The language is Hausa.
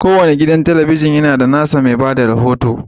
Kowane gidan talabijin yana da nasa mai ba da rahoto.